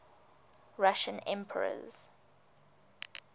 russian emperors